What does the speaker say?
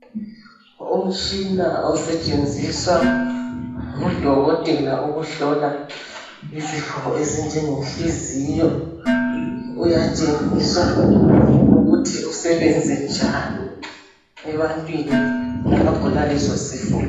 Umtshina osetshenziswa ngudokotela ukuhlola izifo ezinjenge nhliziyo uyatshengisa ukuthi usebenze njani ebantwini abagula leso sifo